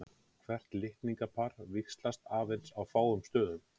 Hvert litningapar víxlast aðeins á fáum stöðum.